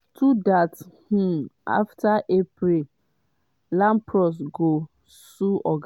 two dats um afta april lampros go sue oga